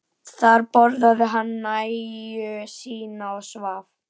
Þar borðaði hann nægju sína og svaf.